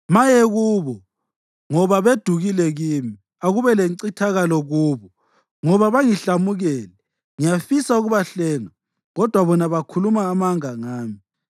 Maye kubo ngoba bedukile kimi! Akube lencithakalo kubo ngoba bangihlamukele! Ngiyafisa ukubahlenga kodwa bona bakhuluma amanga ngami.